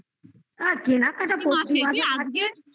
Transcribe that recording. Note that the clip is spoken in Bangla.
আর কেনাকাটা কি